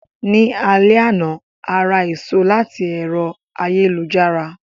Ní alé àná,a ra èso láti ẹ̀rọ ayélujára.